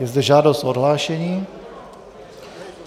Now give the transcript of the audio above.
Je zde žádost o odhlášení.